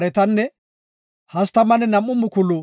entafe Godaas imetiday 675.